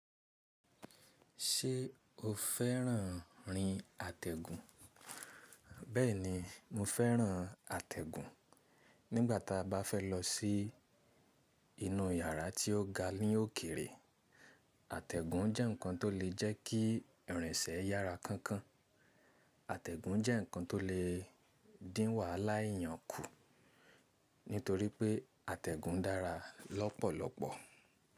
Ṣé o fẹ́ràn rin àtẹ̀gùn? Bẹ́ẹ̀ni, mo fẹ́ràn àtẹ̀gùn. Nígbà tí a bá fẹ́ lọ sí inú yàrá tí ó ga ní òkèrè, àtẹ̀gùn jẹ́ ǹkan tó lè jẹ́ kí ìrìnsẹ̀ yára kánkán. Àtègùn jé nǹkan to le dín wàhálà eèyàn kù nítorí pé àtẹ̀gùn dára lọ́pọ̀lọ́pọ̀.